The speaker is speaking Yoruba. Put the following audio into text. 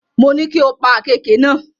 Mo ní kí o pa àkééke náà.